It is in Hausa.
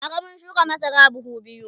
bara mun shuka masara buhu biyu